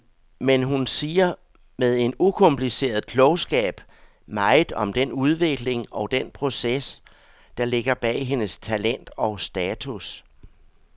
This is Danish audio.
Men hun siger med en ukompliceret klogskab meget om den udvikling og den proces, der ligger bag hendes talent og status.